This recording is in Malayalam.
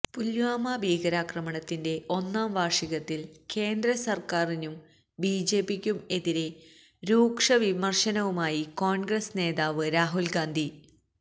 പുല്വാമ ഭീകരാക്രമണത്തിന്റെ ഒന്നാംവാര്ഷികത്തില് കേന്ദ്രസര്ക്കാരിനും ബിജെപിക്കും എതിരെ രൂക്ഷ വിമര്ശനവുമായി കോണ്ഗ്രസ് നേതാവ് രാഹുല് ഗാന്ധി